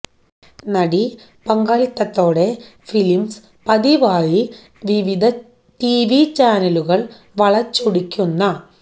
നടി പങ്കാളിത്തത്തോടെ ഫിലിംസ് പതിവായി വിവിധ ടിവി ചാനലുകൾ വളച്ചൊടിക്കുന്ന